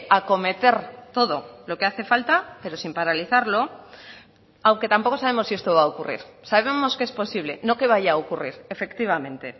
acometer todo lo que hace falta pero sin paralizarlo aunque tampoco sabemos si esto va a ocurrir sabemos que es posible no que vaya a ocurrir efectivamente